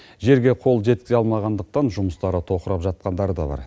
жерге қол жеткізе алмағандықтан жұмыстары тоқырап жатқандары да бар